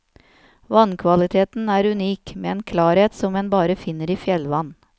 Vannkvaliteten er unik, med en klarhet som en bare finner i fjellvann.